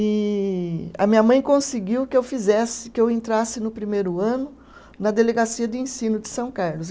E a minha mãe conseguiu que eu fizesse, que eu entrasse no primeiro ano na Delegacia de Ensino de São Carlos.